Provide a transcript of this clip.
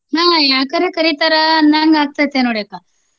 ಹಾ ಯಾಕರ ಕರೀತಾರ ಅನ್ನಂಗಾಗ್ತತೆ ನೋಡಿ ಅಕ್ಕ.